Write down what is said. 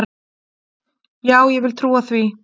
Já, ég vil trúa því.